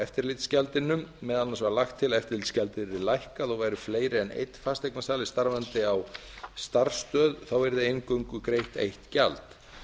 eftirlitsgjaldinu meðal annars var lagt til að eftirlitsgjaldið yrði lækkað og væru fleiri en einn fasteignasali starfandi á starfsstöð yrði eingöngu greitt eitt gjald